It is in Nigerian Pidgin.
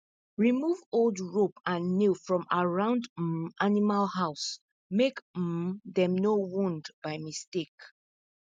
remove old rope and nail from around um animal house make um dem no wound by mistake